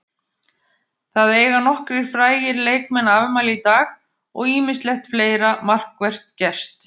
Það eiga nokkrir frægir leikmann afmæli í dag og ýmislegt fleira markvert gerst.